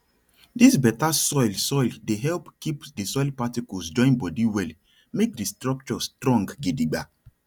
dis better soil soil dey help keep di soil particles join body well make di structure strong gidigba